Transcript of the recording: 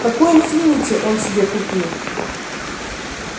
какой инфинити он себе купил